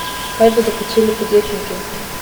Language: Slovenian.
Kaj bodo počeli podjetniki?